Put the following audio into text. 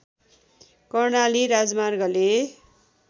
कर्णाली राजमार्गले